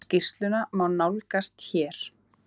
Skýrsluna má nálgast hér.